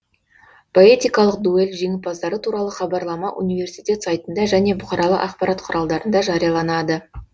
поэтикалық дуэль жеңімпаздары туралы хабарлама университет сайтында және бұқаралық ақпарат құралдарында жарияланады